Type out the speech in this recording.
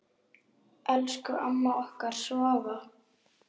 Elsku amma okkar Svava.